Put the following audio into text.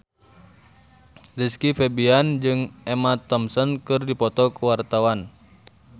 Rizky Febian jeung Emma Thompson keur dipoto ku wartawan